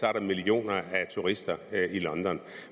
er der millioner af turister i london